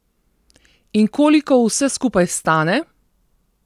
In koliko vse skupaj stane?